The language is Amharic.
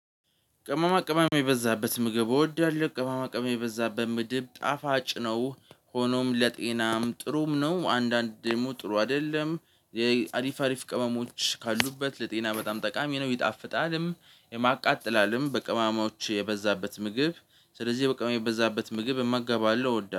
ቅመማ ቅመም የበዛበት ምግብ እወዳለሁ ቅመማ ቅመም የበዛበት ምድብ ጣፋጭ ነው ሆኖም ለጤናም ጥሩም ነው አንዳንድ ደግሞ ጥሩ አይደለም። አሪፍ አሪፍ ቅመሞች ካሉበት ለጤና በጣም ጠቃሚ ነው ይጣፍጣልም። የማቃጥላልም በቅሞሞች የበዛበት ምግብ ስለዚህ በቅመም የበዛበት ምግብ እመገባለው እወዳለሁ